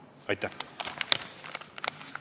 Aitäh!